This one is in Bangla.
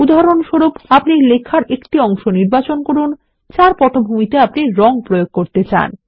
উদাহরণস্বরূপ আপনি লেখার একটি অংশ নির্বাচন করুন যার পটভূমিতে আপনি রঙ প্রয়োগ করতে চান